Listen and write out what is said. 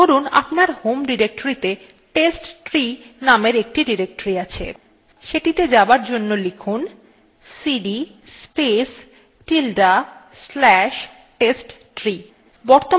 ধরুন আপনার home ডিরেক্টরীতে testtree নামের একটি directory আছে সেটিতে যাবার জন্য লিখুন cd space tilde slash testtree